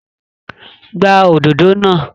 Gbá òdodo náà!